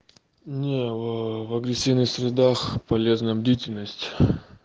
не в агрессивных средах полезна бдительность